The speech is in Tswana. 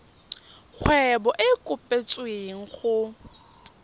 kgwebo e e kopetswengcc go